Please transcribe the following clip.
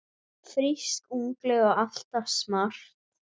Frísk, ungleg og alltaf smart.